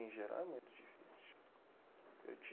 Em geral é muito difícil.